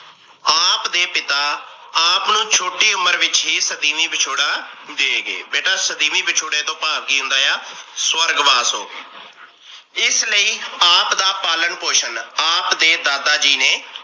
ਆਪ ਦੇ ਪਿਤਾ ਆਪ ਨੂੰ ਛੋਟੀ ਉਮਰ ਵਿੱਚ ਹੀ ਸਦੀਮੀ ਵਿਛੋੜਾ ਦੇਗੇ। ਬੇਟਾ ਸਦੀਮੀ ਵਿਛੋੜੇ ਤੋਂ ਪਾਭ ਕੀ ਹੁੰਦਾ ਆ? ਸਵਰਗਵਾਸ ਹੋ ਗਏ। ਇਸ ਲਈ ਆਪ ਦਾ ਪਾਲਣ ਪੋਸ਼ਣ ਆਪ ਦੇ ਦਾਦਾ ਜੀ ਨੇ